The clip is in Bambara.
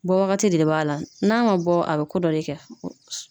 Bɔ wagati de b'a la n'a man bɔ a bɛ ko dɔ de kɛ.